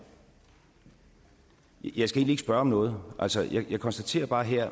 jeg skal egentlig ikke spørge om noget altså jeg konstaterer bare her